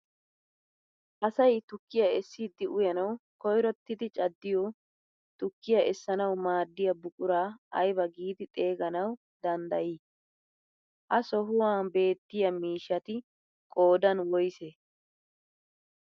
Asay tukkiyaa essidi uyanawu koyrottidi caddiyoo tukkiyaa essanawu maaddiyaa buquraa ayba giidi xeeganawu dandayii? ha sohuwaa beettiyaa miishshati qoodan woysee?